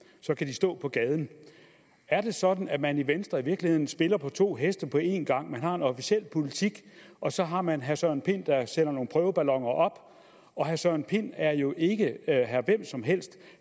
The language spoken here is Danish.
så kan de stå på gaden er det sådan at man i venstre i virkeligheden spiller på to heste på en gang man har en officiel politik og så har man herre søren pind der sender nogle prøveballoner op herre søren pind er jo ikke herre hvem som helst